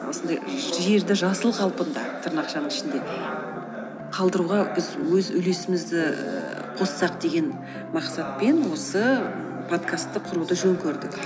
осындай жерді жасыл қалпында тырнақшаның ішінде қалдыруға біз өз үлесімізді ііі қоссақ деген мақсатпен осы подкасты құруды жөн көрдік